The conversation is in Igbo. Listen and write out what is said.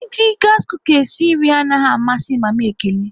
E ji gasi kuka wéré sie nri anaghị amasị mama Ekene